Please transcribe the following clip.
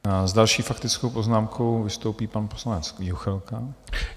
S další faktickou poznámkou vystoupí pan poslanec Juchelka.